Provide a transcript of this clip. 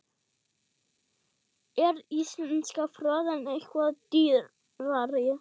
Er íslenska froðan eitthvað dýrari?